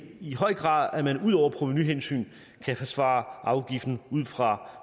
i høj grad at man ud over provenuhensyn kan forsvare afgiften ud fra